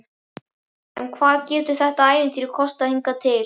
En hvað hefur þetta ævintýri kostað hingað til?